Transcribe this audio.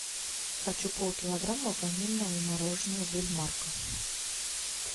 хочу пол килограмма ванильного мороженого бельмарко